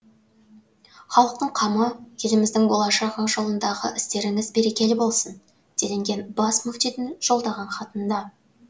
халықтың қамы еліміздің болашағы жолындағы істеріңіз берекелі болсын делінген бас мүфтидің жолдаған хатында